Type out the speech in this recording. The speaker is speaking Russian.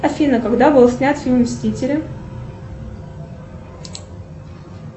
афина когда был снят фильм мстители